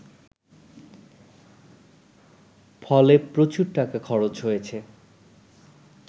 ফলে প্রচুর টাকা খরচ হয়েছে